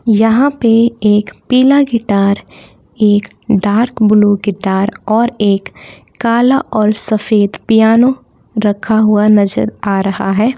यहां पे एक पीला गिटार एक डार्क ब्लू गिटार और एक कला और सफेद पियानो रखा हुआ नजर आ रहा है।